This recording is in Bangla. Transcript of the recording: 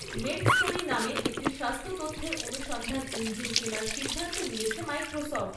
মেডস্টোরি নামে একটি স্বাস্থ্য তথ্যের অনুসন্ধান ইঞ্জিন কেনার সিদ্ধান্ত নিয়েছে মাইক্রোসফ্ট।